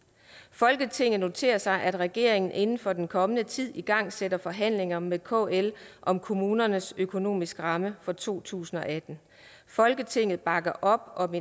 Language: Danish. folketinget noterer sig at regeringen inden for den kommende tid igangsætter forhandlinger med kl om kommunernes økonomiske rammer for to tusind og atten folketinget bakker op om